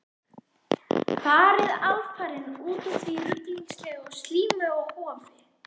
Farið alfarinn út úr því ruglingslega og slímuga hofi.